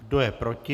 Kdo je proti?